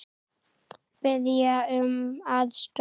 Biðja um aðstoð!